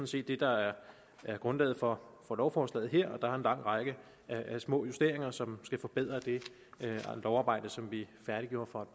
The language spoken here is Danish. set det der er grundlaget for lovforslaget her der er en lang række af små justeringer som skal forbedre det lovarbejde som vi færdiggjorde for